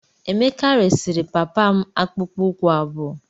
Emeka resịrị papa m akpụkpọ ụkwụ abụọ.